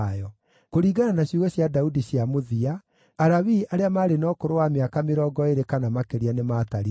Kũringana na ciugo cia Daudi cia mũthia, Alawii arĩa maarĩ na ũkũrũ wa mĩaka mĩrongo ĩĩrĩ kana makĩria nĩmatarirwo.